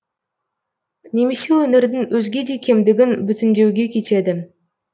немесе өңірдің өзге де кемдігін бүтіндеуге кетеді